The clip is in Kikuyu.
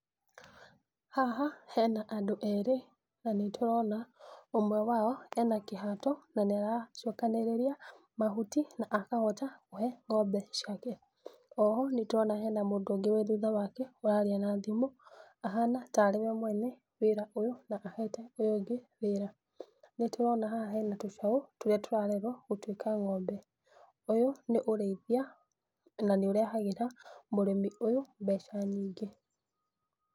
Haha hena andũ erĩ, na nĩ tũrona ũmwe wao, ena kĩhato, na nĩaracokanĩrĩria, mahuti, na akahota kũhe ngombe ciake, oho nĩtũrona hena mũndũ ũngĩ ũrĩ thutha wake ũraria na thimũ, ahana tarĩ we mwene wĩra ũyũ, na ahete ũyũ ũngĩ wĩra. Nĩtũrona haha hena tũcaũ, tũrĩa tũrarerwo gũtuĩka ngombe, ũyũ nĩ ũrĩithia na nĩũrehagĩra mũrimĩ ũyũ mbeca nyingĩ.